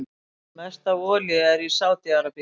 Mest af olíu er í Sádi-Arabíu.